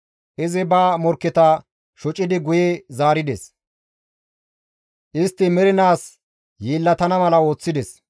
Izi ba morkketa shocidi guye zaarides; istti mernaas yeellatana mala ooththides.